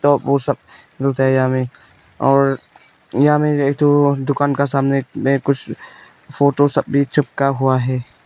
तो वह सब मिलता है यहां में और यहाँ में एक ठो दुकान के सामने मे कुछ फोटो सब भी चिपका हुआ है।